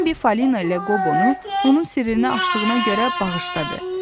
Bembi Falina ilə Qobonu onun sirrinə açdığına görə bağışladı.